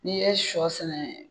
N'i ye shɔ sɛnɛ